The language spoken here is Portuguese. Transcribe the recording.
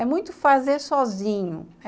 É muito fazer sozinho.